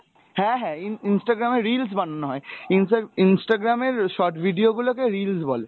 হ্যাঁ হ্যাঁ, in~ instagram এ reels বানানো হয়, ইন্সটা~ instagram এর short video গুলো কে reels বলে।